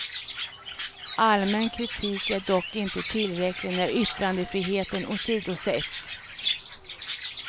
Allmän kritik är dock inte tillräcklig när yttrandefriheten åsidosätts.